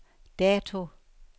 dato